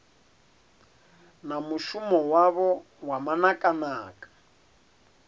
na mushumo wavho wa manakanaka